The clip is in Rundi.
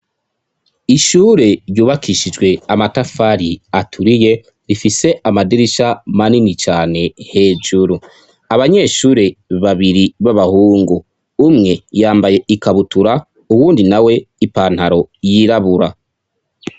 Ishure ryubakishijwe amatafari aturiye rifise amadirisha manini cane hejuru, abanyeshure babiri b'abahungu umwe yambaye ikabutura uwundi nawe ipantaro yirabura.